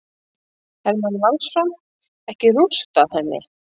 Hermann Valsson: Ekki rústað henni.